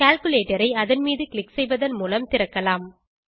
calculator ஐ அதன் மீது க்ளிக் செய்வதன் மூலம் திறக்ககலாம்